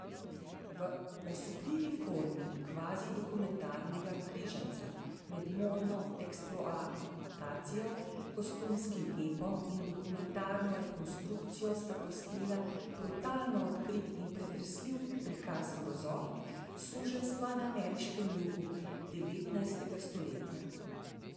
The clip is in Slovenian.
V osupljivi formi kvazidokumentarnega križanca med modno eksploatacijo, kostumskim epom in dokumentarno rekonstrukcijo sta posnela brutalno odkrit in pretresljiv prikaz grozot suženjstva na ameriškem jugu devetnajstega stoletja.